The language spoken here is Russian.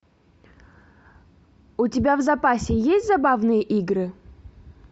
у тебя в запасе есть забавные игры